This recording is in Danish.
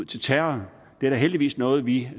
til terror det er da heldigvis noget vi